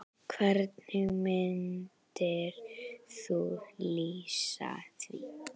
Hvernig myndir þú lýsa því?